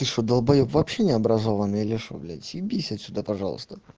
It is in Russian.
ты что далбоёб вообще необразованый или что блять съебись отсюда пожалуйста